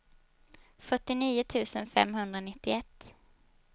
fyrtionio tusen femhundranittioett